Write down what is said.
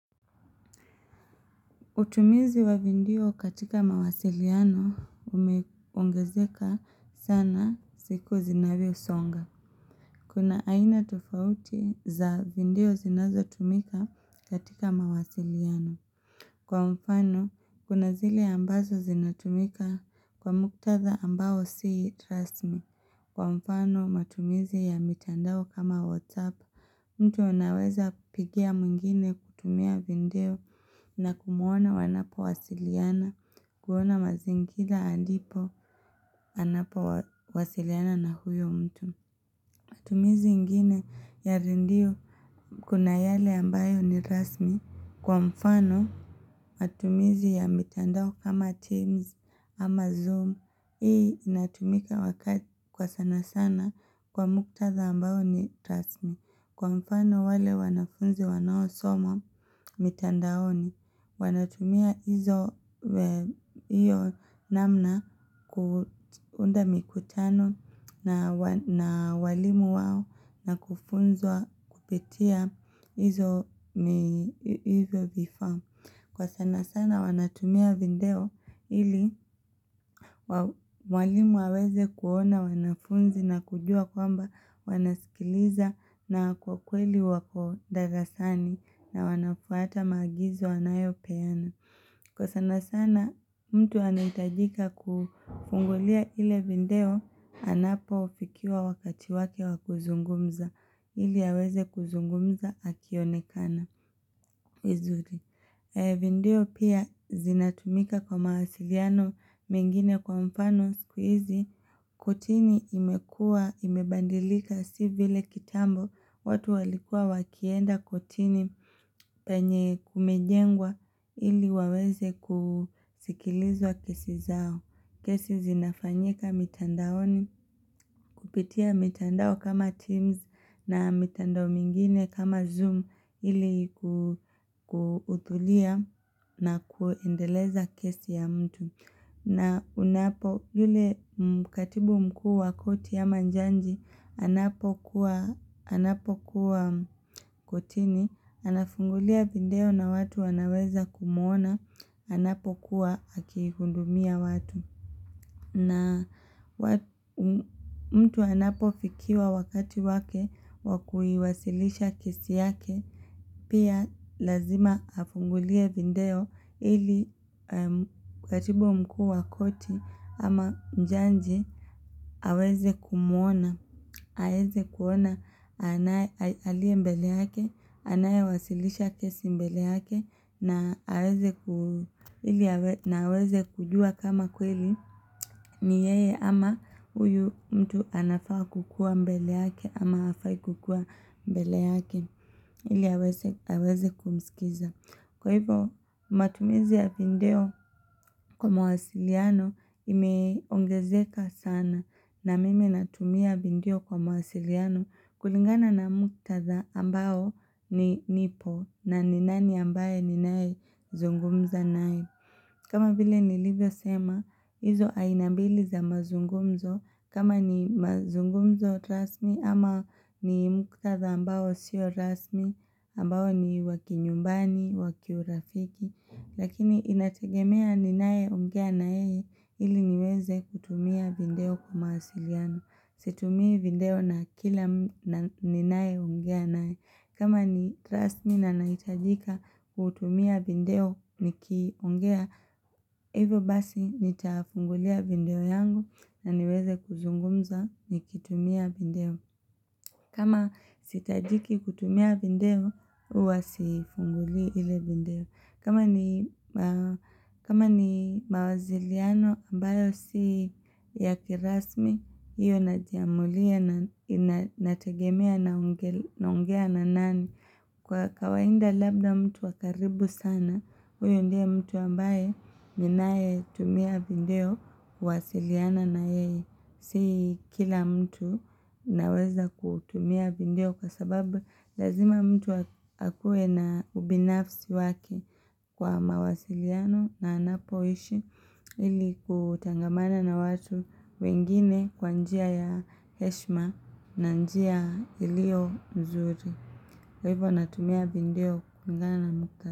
Utumizi wa video katika mawasiliano umeongezeka sana siku zinavyosonga. Kuna aina tofauti za video zinazotumika katika mawasiliano. Kwa mfano, kuna zile ambazo zinatumika kwa muktadha ambao si trust me. Kwa mfano, matumizi ya mitandao kama WhatsApp. Mtu naweza kupigia mwingine kutumia video na kumuona wanapo wasiliana, kuona mazingira andipo anapo wasiliana na huyo mtu. Matumizi ingine ya redio kuna yale ambayo ni rasmi. Kwa mfano, matumizi ya mitandao kama Teams ama Zoom, hii inatumika wakati kwa sana sana kwa muktadha ambayo ni rasmi. Kwa mfano wale wanafunzi wanaosoma mitandaoni, wanatumia hizo namna kuunda mikutano na walimu wao na kufunzwa kupitia hizo hivyo vifaa. Kwa sana sana wanatumia video ili walimu waweze kuona wanafunzi na kujua kwamba wanasikiliza na kwa kweli wako darasani na wanafuata maagizo anayo peana. Kwa sana sana mtu anahitajika kufungulia ile video anapofikia wakati wake wakuzungumza ili aweze kuzungumza akionekana. Video pia zinatumika kwa mawasiliano mengine kwa mfano siku hizi kotini imekua imebadilika si vile kitambo watu walikua wakienda kotini penye kumejengwa ili waweze kusikilizwa kesi zao. Kesi zinafanyika mitandaoni kupitia mitandao kama Teams na mitandao mingine kama Zoom ili kuhuthuria na kuendeleza kesi ya mtu. Na unapo yule mkatibu mkuu wa koti ya ama jaji anapo kuwa kotini, anafungulia video na watu wanaweza kumuona, anapo kuwa akihudumia watu. Na mtu anapo fikiwa wakati wake wakuiwasilisha kesi yake pia lazima afungulie video ili katibu mkuu wa koti ama jaji aweze kumuona aweze kuona anaye aliye mbele yake anayewasilisha kesi mbele yake na na aweze kujua kama kweli ni yeye ama huyu mtu anafaa kukua mbele yake ama hafai kukua mbele yake ili aweze kumsikiza Kwa hivyo matumizi ya video kwa mawasiliano imeongezeka sana na mimi natumia video kwa mawasiliano kulingana na muktadha ambao ni nipo na ni nani ambaye ninayezungumza naye kama vile nilivyosema, hizo aina mbili za mazungumzo, kama ni mazungumzo rasmi ama ni muktadha ambao sio rasmi, ambao ni wa kinyumbani, wa kiurafiki, lakini inategemea ninayeongea na yeye ili niweze kutumia video kwa mawasiliano, situmii video na kila ninayeongea naye. Kama ni rasmi na nahitajika kutumia video nikiongea, hivo basi nitafungulia video yangu na niweze kuzungumza nikitumia video. Kama sihitajiki kutumia video, huwa siifunguli ile video. Kama ni mawasiliano ambayo si ya kirasmi, hiyo najiamulia na inategemea naongea na nani. Kwa kawaida labda mtu wa karibu sana, huyu ndiye mtu ambaye ninaye tumia video kuwasiliana na yeye. Si kila mtu naweza kutumia video kwa sababu lazima mtu akue na ubinafsi wake kwa mawasiliano na anapoishi ili kutangamana na watu wengine kwa njia ya heshma na njia iliyo nzuri. Kwa hivyo natumia video kulingana na mka.